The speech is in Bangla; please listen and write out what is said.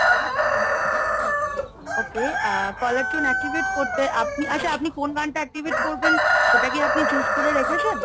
okay ah caller tune activate করতে আপনি আচ্ছা আপনি কোন গানটা activate করবেন? সেটা কি আপনি choose করে রেখেছেন?